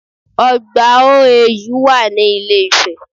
Ọgbà OAU wà ní ilé ifẹ̀